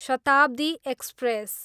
Shatabdi express